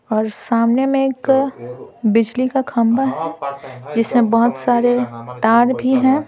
और सामने में एक बिजली का खंबा जिसमें बहुत सारे तार भी हैं।